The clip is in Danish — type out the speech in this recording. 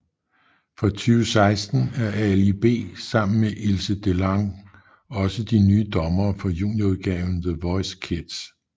Fra 2016 er Ali B sammen med Ilse DeLange også de nye dommere for junior udgaven The Voice Kids